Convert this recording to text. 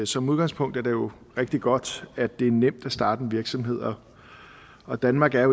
som udgangspunkt er det jo rigtig godt at det er nemt at starte en virksomhed og og danmark er